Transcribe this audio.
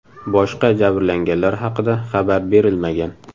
Boshqa jabranganlar haqida xabar berilmagan.